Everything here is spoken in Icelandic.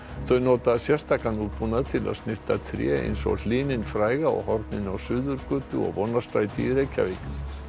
þau nota sérstakan útbúnað til að snyrta tré eins og hlyninn fræga á horninu á Suðurgötu og Vonarstræti í Reykjavík